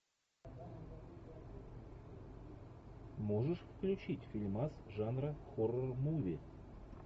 можешь включить фильмас жанра хоррор муви